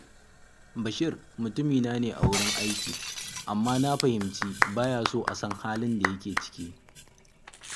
Bashir mutumina ne sosai a wurin aiki, amma na fahimci ba ya so a san halin da yake ciki